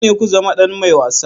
Dole ne ku zama ɗan mai wasa.